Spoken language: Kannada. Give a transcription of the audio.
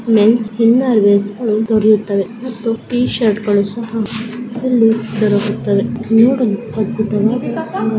ಮೆನ್ಸ್ ಇನ್ನೆರವೀರ್ ಅನ್ನು ದೊರೆಯುತ್ತವೆ. ಮತ್ತು ಟಿ-ಶರ್ಟ್ ಗಳು ಸಹಾ ಇಲ್ಲಿ ದೊರಕುತ್ತವೆ. ನೋಡು --